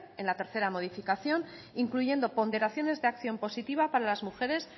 en la tercera modificación incluyendo ponderaciones de acción positiva para las mujeres